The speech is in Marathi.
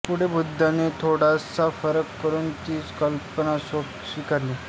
पुढे बुद्धाने थोडासा फरक करून तीच कल्पना स्वीकारली